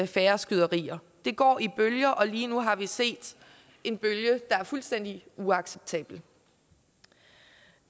færre skyderier det går i bølger og lige nu har vi set en bølge der er fuldstændig uacceptabel